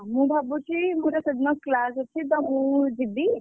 ମୁଁ ଭାବୁଛି ମୁଁ ସେଦିନ class ଅଛି ତ ମୁଁ ଯିବି।